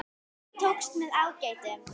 Það tókst með ágætum.